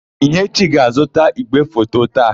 Ihechi ga-azụta ígwèfoto taa.